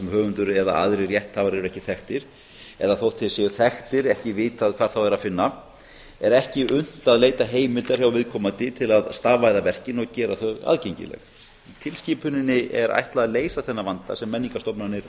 höfundur eða aðrir rétthafar eru ekki þekktir eða þótt þeir séu þekktir er ekki vitað hvar þá er að finna er ekki unnt að leita heimildar hjá viðkomandi til að stafvæða verkin og gera þau aðgengileg tilskipuninni er ætlað að leysa þennan vanda sem menningarstofnanir